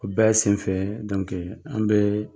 O bɛɛ senfɛ an be